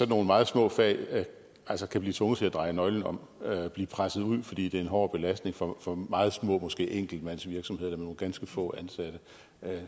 nogle meget små fag altså kan blive tvunget til at dreje nøglen om og blive presset ud fordi det er en hård belastning for for meget små virksomheder måske enkeltmandsvirksomheder nogle ganske få ansatte